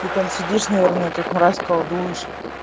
ты там сидишь наверное как мразь колдуешь